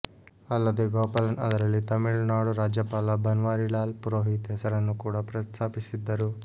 ಅಲ್ಲದೇ ಗೋಪಾಲನ್ ಅದರಲ್ಲಿ ತಮಿಳುನಾಡು ರಾಜ್ಯಪಾಲ ಬನ್ವಾರಿಲಾಲ್ ಪುರೋಹಿತ್ ಹೆಸರನ್ನು ಕೂಡ ಪ್ರಸ್ತಾಪಿಸಿದ್ದರು